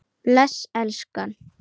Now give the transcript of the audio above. Bless elskan!